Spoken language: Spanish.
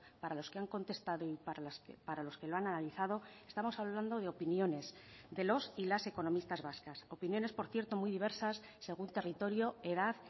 para los que han contestado y para los que lo han analizado estamos hablando de opiniones de los y las economistas vascas opiniones por cierto muy diversas según territorio edad